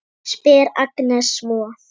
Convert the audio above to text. spyr Agnes svo.